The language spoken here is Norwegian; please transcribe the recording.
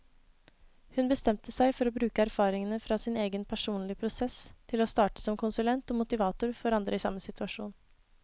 Hun bestemte seg for å bruke erfaringene fra sin egen personlige prosess til å starte som konsulent og motivator for andre i samme situasjon.